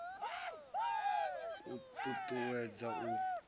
u t ut uwedza u